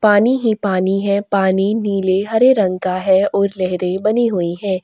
पानी ही पानी है पानी नीले हरे रंग का है और लहरे बनी हुई है।